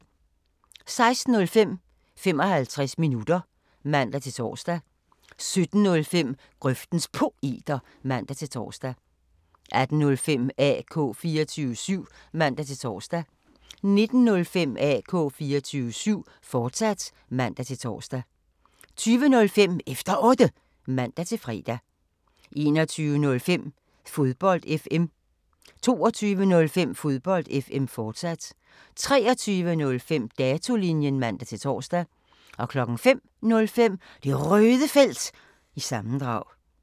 16:05: 55 minutter (man-tor) 17:05: Grøftens Poeter (man-tor) 18:05: AK 24syv (man-tor) 19:05: AK 24syv, fortsat (man-tor) 20:05: Efter Otte (man-fre) 21:05: Fodbold FM 22:05: Fodbold FM, fortsat 23:05: Datolinjen (man-tor) 05:05: Det Røde Felt – sammendrag